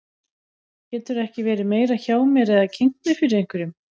Geturðu ekki verið meira hjá mér eða kynnt mig fyrir einhverjum.